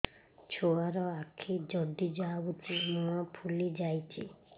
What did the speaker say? ଛୁଆର ଆଖି ଜଡ଼ି ଯାଉଛି ମୁହଁ ଫୁଲି ଯାଇଛି